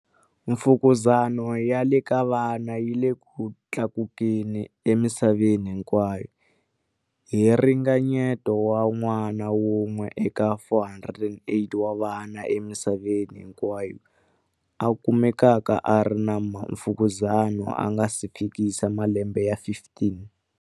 Mfukuzani ya le ka vana yi le ku tlakukeni emisa veni hinkwayo, hi ringa nyeto wa n'wana wun'we eka 408 wa vana emisaveni hinkwayo a kumekaka a ri na mfukuzani a nga si fikisa malembe ya 15.